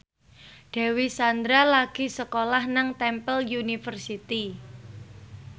Dewi Sandra lagi sekolah nang Temple University